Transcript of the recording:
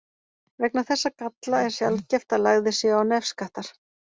Vegna þessa galla er sjaldgæft að lagðir séu á nefskattar.